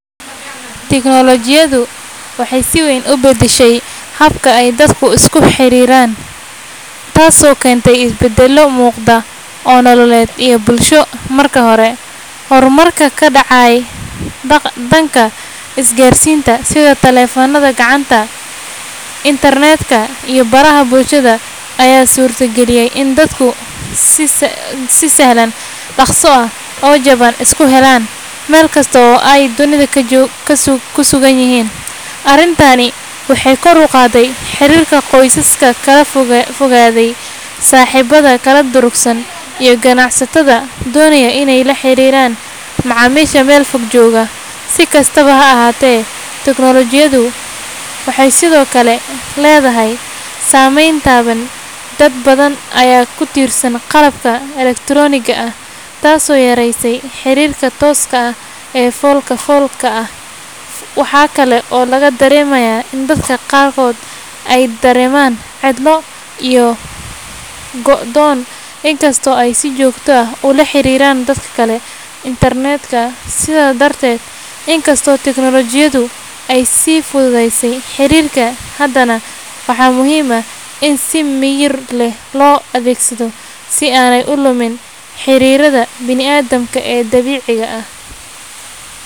Teknolojiyaddu waxay si weyn u beddeshay habka ay dadku isku xiriiraan, taasoo keentay isbeddello muuqda oo nololeed iyo bulsho. Marka hore, horumarka ka dhacay dhanka isgaarsiinta sida taleefannada gacanta, internet-ka, iyo baraha bulshada ayaa suurta geliyay in dadku si sahlan, dhaqso ah, oo jaban isku helaan, meel kasta oo ay dunida kaga sugan yihiin. Arrintani waxay kor u qaaday xiriirka qoysaska kala fogaaday, saaxiibada kala durugsan, iyo ganacsatada doonaya inay la xiriiraan macaamiisha meel fog jooga. Si kastaba ha ahaatee, teknolojiyaddu waxay sidoo kale leedahay saameyn taban. Dad badan ayaa ku tiirsan qalabka elektarooniga ah, taasoo yaraysay xiriirka tooska ah ee fool-ka-foolka ah. Waxa kale oo laga dareemayaa in dadka qaarkood ay dareemaan cidlo iyo go’doon, inkastoo ay si joogto ah ula xiriiiraan dad kale internet-ka. Sidaa darteed, inkastoo teknolojiyaddu ay fududeysay xiriirka, haddana waxaa muhiim ah in si miyir leh loo adeegsado si aanay u lumin xiriirrada bini’aadamka ee dabiiciga ah.